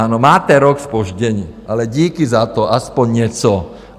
Ano, máte rok zpoždění, ale díky za to, aspoň něco.